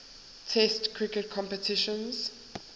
test cricket competitions